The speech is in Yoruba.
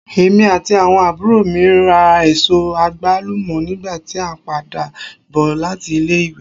Èmí ati awọn àbúrò mi rá èsó agbalumo nígbà ti a n pàdà bò láti ilé ìwé.